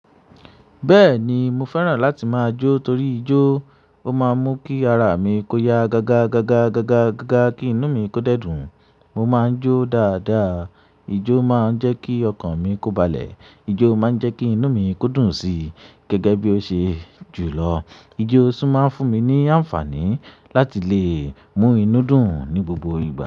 Bẹ́ẹ̀ni, mo fẹ́ràn láti máa jó torí ijó, ó máa ń mú kí ara mi kó ya gaga gaga gaga gaga kí inú mi kó dẹ́dùn. Mo máa ń jó dáadáa. Ijó máa ń jẹ́ kí ọkàn mi kó balẹ̀, ijó máa ń jẹ́ kí inú mi kó dùn sí gẹ́gẹ́ bí ó ṣe jù lọ. Ijó sì máa ń fún mi ní àǹfààní láti lè mú inú dùn ní gbogbo ìgbà.